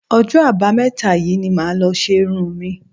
Ọjọ́ Àbámẹ́ta yìí ni màá lọ ṣe irun mi